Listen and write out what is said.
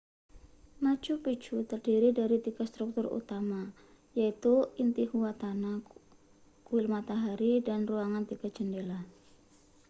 machu picchu terdiri dari tiga struktur utama yaitu intihuatana kuil matahari dan ruangan tiga jendela